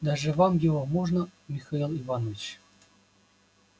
даже вам его можно михаил иванович